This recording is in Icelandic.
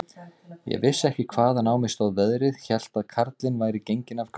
Ég vissi ekki, hvaðan á mig stóð veðrið, hélt að karlinn væri genginn af göflunum.